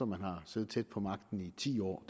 man har siddet tæt på magten i ti år